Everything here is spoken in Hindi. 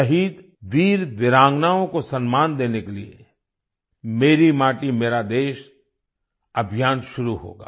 शहीद वीरवीरांगनाओं को सम्मान देने के लिए मेरी माटी मेरा देश अभियान शुरू होगा